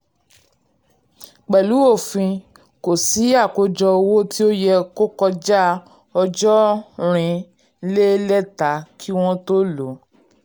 pẹ̀lú òfin kò sí àkójọ owó tí ó yẹ kọjá ọjọ́ nrin le leta kí wọn tó lò.